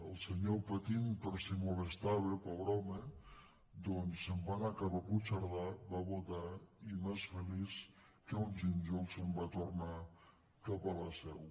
el senyor patint per si moles tava pobre home doncs se’n va anar cap a puigcerdà va votar i més feliç que un gínjol se’n va tornar cap a la seu